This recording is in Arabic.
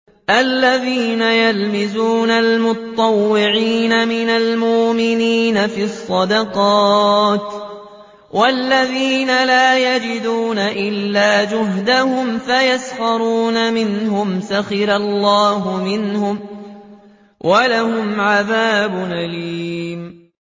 الَّذِينَ يَلْمِزُونَ الْمُطَّوِّعِينَ مِنَ الْمُؤْمِنِينَ فِي الصَّدَقَاتِ وَالَّذِينَ لَا يَجِدُونَ إِلَّا جُهْدَهُمْ فَيَسْخَرُونَ مِنْهُمْ ۙ سَخِرَ اللَّهُ مِنْهُمْ وَلَهُمْ عَذَابٌ أَلِيمٌ